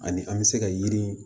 Ani an bɛ se ka yiri